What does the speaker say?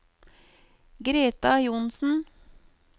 Greta Johnsen